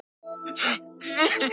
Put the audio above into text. En enn er hvasst.